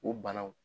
O banaw